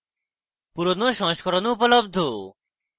পুরোনো সংস্করণ ও উপলব্ধ